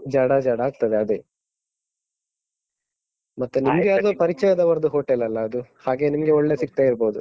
ಜಡ, ಜಡ ಆಗ್ತದೆ ಅದೇ. ಮತ್ತೆ ನಿಮ್ಗೆ ಅದೇ ಮತ್ತೆ ನಿಮ್ಗೆ ಅದು ಪರಿಚಯದವರದ್ದು hotel ಲ್ಲ ಅದು ಹಾಗೆ ನಿಮ್ಗೆ ಒಳ್ಳೇ ಸಿಗ್ತಾ ಇರ್ಬೋದು.